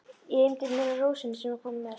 Ég einbeiti mér að rósinni sem hann kom með.